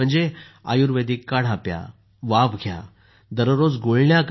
आयुर्वेदीक काढा प्या वाफ घ्या आणि दररोज गुळण्या करा